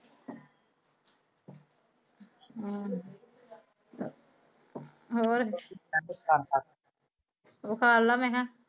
ਹਮ ਹੋਰ ਕਰਲਾ